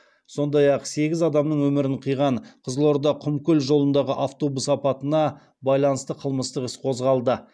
сондай ақ сегіз адамның өмірін қиған қызылорда құмкөл жолындағы автобус апатына байланысты қылмыстық іс қозғалды